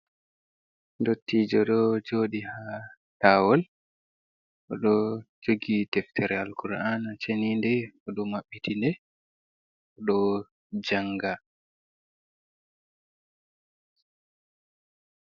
Ndottijo ɗo joɗi haa lawol, o ɗo jogi deftere Al-ƙur'ana cheninde, o ɗo mabbitinde, o ɗo janga